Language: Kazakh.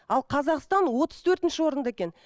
ал қазақстан отыз төртінші орында екен